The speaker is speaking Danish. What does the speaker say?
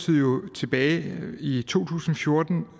jo tilbage i to tusind og fjorten